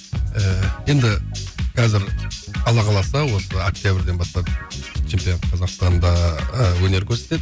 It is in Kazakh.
ііі енді қазір алла қаласа осы октябрьден бастап чемпионат қазақстанда ы өнер көрсетеді